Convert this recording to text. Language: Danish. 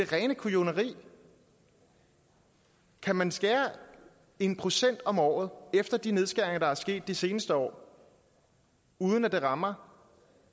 rene kujoneri kan man skære en procent om året efter de nedskæringer der er sket de seneste år uden at det rammer